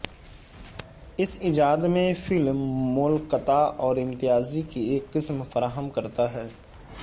اس ایجاد میں فلم مولکتا اور امتیازی کی ایک قسم فراہم کرتا ہے